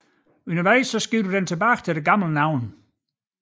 Undervejs skiftede den tilbage til det gamle navn